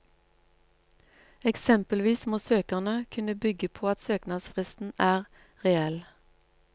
Eksempelvis må søkerne kunne bygge på at søknadsfristen er reell.